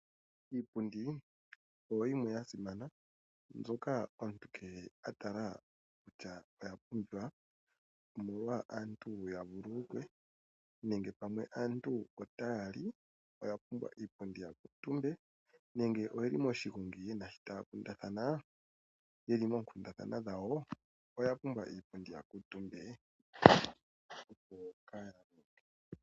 Iipundi oyo yimwe yasimana mbyoka omuntu kehe a tala kutya oya pumbiwa, omolwa aantu ya vuululukwe nenge pamwe aantu otaya li oya pumbwa iipundi ya kuutumbe nenge ye li moshigongi taya kundathana ye li moonkundathana dhawo oya pumbwa iipundi ya kuutumbe.